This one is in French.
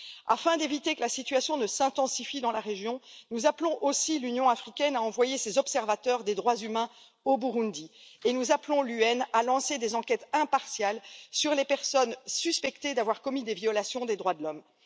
Afin d'éviter que la situation ne s'intensifie dans la région, nous appelons aussi l'Union africaine à envoyer ses observateurs des droits humains au Burundi et nous appelons les Nations unies à lancer des enquêtes impartiales sur les personnes suspectées d'avoir commis des violations des droits de l'homme.